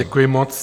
Děkuji moc.